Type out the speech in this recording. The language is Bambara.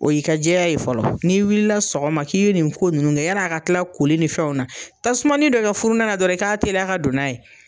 O y'i ka jɛya ye fɔlɔ. N'i wilila sɔgɔma k'i ye nin ko ninnu kɛ yan'a ka tila koli ni fɛnw na, tasumanin dɔ kɛ furunɛ la dɔrɔn i k'a teliya ka don n'a ye.